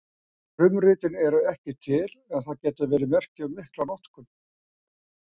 Frumritin eru ekki til en það getur verið merki um mikla notkun.